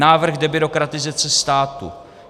Návrh debyrokratizace státu.